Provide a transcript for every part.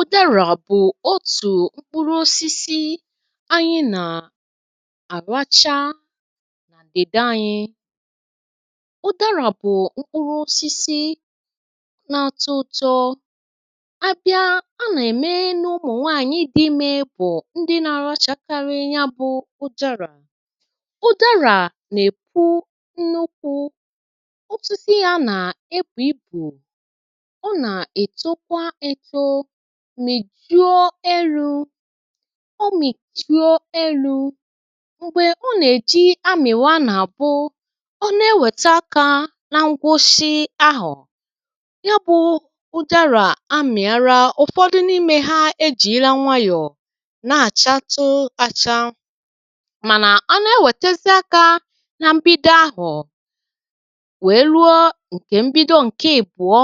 Udara bụ̀ otù mkpụrụ osisi anyị nà-àracha n'obodo anyị, udara bụ̀ mkpụrụosisi nà-àtu ụ̀tọ, a bịa a nà-ème n’ụmụ̀ nwaànyị dị̇ ime bụ̀ ndị nà-arachakarị ya bụ̇ udara, udara nà-èpù nnukwù, osisi ya na-ebu ibu, ọ na-etokwa eto, mìjụọ elu̇, ọ mìjụọ elu̇, m̀gbè ọ nà-èji amị̀wa nà-àbụ, ọ na-ewète aka nà ngwusi ahọ, ya bụ̇ ụdarà amị̀ara ụ̀fọdụ n’imė ha ejìịra nwayọ̀ na-àchatu acha mànà a na-ewètezie aka nà mbido aho wèe ruo ǹkè mbido ǹke ibùọ,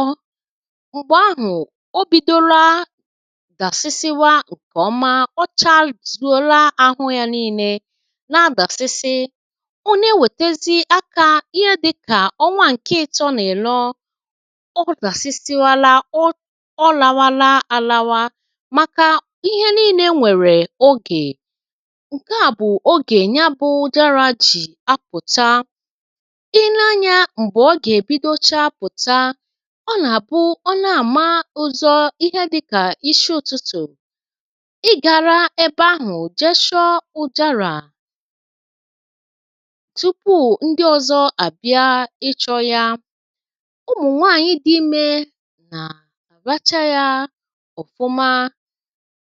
mgbe ahụ obidona dasiba ǹkè ọma, ọcharizuola ahụ̇ ya nii̇nė na-adàsịsị, ọ na-ewètezi akȧ ihe dị̇kà ọnwa ǹkè ịtọ̇ na ịnọ odasibala, olabala ala a, maka ihe niile nwere oge, ǹke à bụ̀ ogè ya bụ̇ udara jì apụ̀ta i nee anyȧ m̀gbè ọ gà-èbidocha pụta, ọ na-abụ Ona-ama uzo ihe dịkà isi ụtụtụ, ị gara ẹbẹ ahụ̀ jechọ ụdara tupu ndị ọzọ àbịa ịchọ̇ ya, ụmụ̀ nwaànyị dị imė nà àracha ya ọfụma,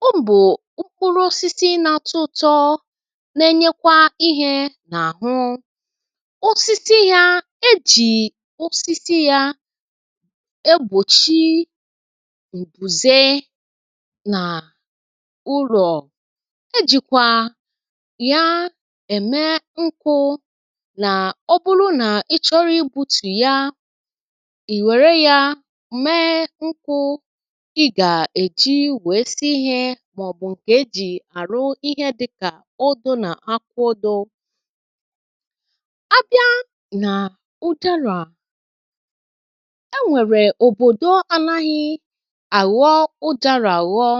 ọ bụ mkpụrụ ọsịsị na-atụ ụ̇tọ̇ na-enyekwa ihė nà àhụ, ọsịsị ya e jì ọsịsị ya egbochi mbùze nà ụlọ, e jìkwà ya ème nkụ̇ nà ọ bụrụ nà ịchọrọ igbu̇tù ya, ì wère ya mee nkụ̇ ị gà-èji wèe si ihė màọ̀bụ̀ ǹkè e jì àrụ ihe dịkà ọdụ nà aka ọdụ, a bịa nà ụdȧrà, enwere obodo anaghị àghọ ụdȧlà àghọ,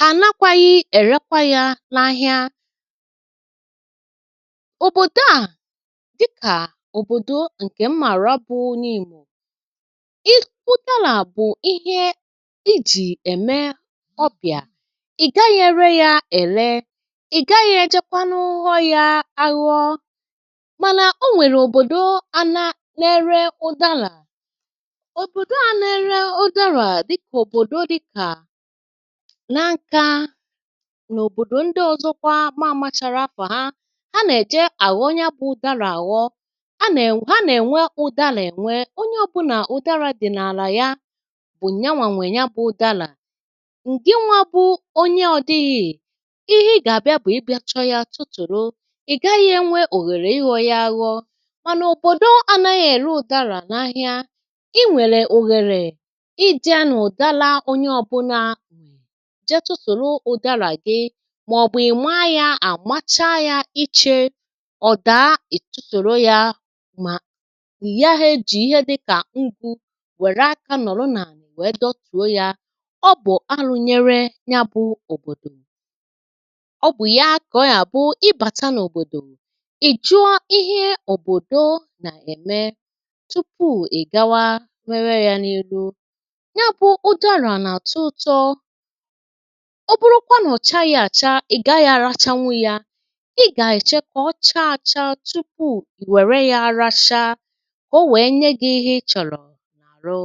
hà nakwaghi èrekwa ya n’ahịa, òbòdò a dịkà òbòdò ǹkè mmàra bụ̇ Nimo, ị̀ kwụ udarà bụ̀ ihe i jì ème ọbịà, ì gaghi ere ya èle, ì gaghi ejekwanụ ghọ yȧ aghọ mànà, o nwèrè òbòdò anȧ na -ėre ụdȧlà, òbòdò a na-ere udara dịka Nankȧ n'òbòdò ndị ọ̀zọkwa ma ȧmachara afà ha, a nà-èje àghọ nya bụ̇ udȧlà àghọ, a nà-ènwe ha nà-ènwe ụ̀dàlà ènwe, onye ọbụnà ụ̀dàlà dị̀ n’àlà ya, bụ̀ nyawà nwèè nya bụ̇ ụ̀dàlà. ǹgị nwȧ bụ̇ onye ọdịghị̇ ihe ị gà-àbịa bụ̀ ịbịachọ yȧ tụtụ̀rụ̀, ị̀ gaghị̇ e nwe òghèrè ịghọ̇ yȧ ȧghọ̇ mànà òbòdò anȧghị̇ ère ụ̀dàlà n’ahịa, ị nwere ohere ǹje na ụdara onye ọbụnà jee tụtụ̀rụ̀ udara gị màọ̀bụ̀ ị̀ma yȧ àmacha yȧ ichė ọ̀ daa ì tuturu yȧ mà igahė ejì ihe dịkà ngu wère aka nọ̀rọ n’àlà wèe dọtùo yȧ, ọ bụ̀ alụ̇ nyere ya bụ̇ òbòdò. ọ bụ̀ ya kà ọ yà bụ ibàta n’òbòdò, ị jụọ ihe òbòdò nà-ème tupu è gawa mewe ya n’elu, nyabu udara na-atụ ụtọ, ọ bụrụkwa nà ọ̀ chaghị̇ àcha, ị̀ gaghị̇ àrachanwu yȧ, ị̀ gà-èche kà ọ chaa àcha tupu ì wère yȧ aracha kà o wee nye gị̇ ihe ị chọ̀rọ̀ n’àrụ.